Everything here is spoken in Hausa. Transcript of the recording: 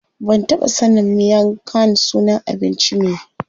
Ban taɓa sanin miang khan sunan abinci ne.